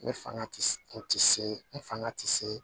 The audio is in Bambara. N fanga ti se n ti se n fanga ti se